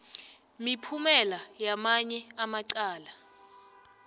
miphumela yamanye amacala